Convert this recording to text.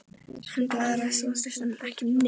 Hann blaðraði stanslaust um ekki neitt.